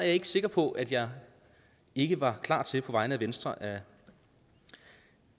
ikke sikker på at jeg ikke var klar til på vegne af venstre at